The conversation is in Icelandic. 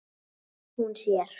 Hún sér